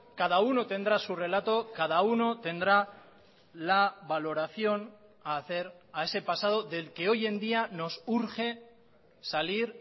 cada uno tendrá su relato cada uno tendrá la valoración a hacer a ese pasado del que hoy en día nos urge salir